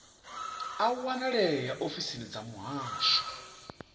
a wanalea ofisini dza muhasho